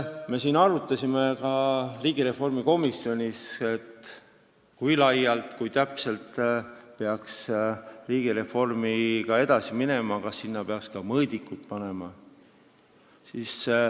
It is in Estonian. Me arutasime ka riigireformi komisjonis, kui laialt ja kui täpselt peaks riigireformiga edasi minema ja kas peaksid ka mõõdikud olema.